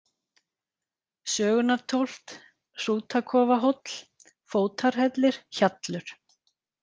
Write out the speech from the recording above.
Sögunartóft, Hrútakofahóll, Fótarhellir, Hjallur